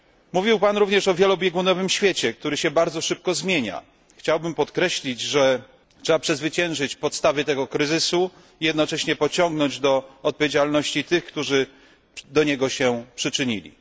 Mówił Pan również o wielobiegunowym świecie, który się bardzo szybko zmienia. Chciałbym podkreślić, że trzeba przezwyciężyć podstawy tego kryzysu i jednocześnie pociągnąć do odpowiedzialności tych, którzy się do niego przyczynili.